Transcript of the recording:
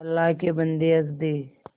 अल्लाह के बन्दे हंस दे